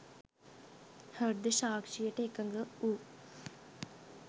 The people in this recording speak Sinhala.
හෘද සාක්ෂියට එකඟ වූ